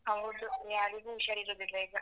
ಹೌದು ಯಾರಿಗೂ ಉಷಾರಿರುದಿಲ್ಲ ಈಗ.